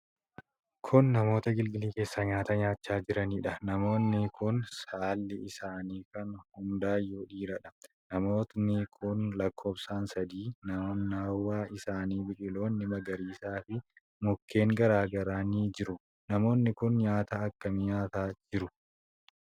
Kun namoota agilgilii keessaa nyaata nyaachaa jiranidha. namoonni kun saalli isaanii kan hundaayyuu dhiiradha. Namooti kun lakkoofsaan sadii. Naannawa isaanii biqiloonni magariisi fi mukkeen garaa garaa ni jiru. Namoonni kun nyaata akkamii nyaataa jiru?